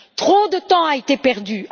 Trop de temps a été perdu.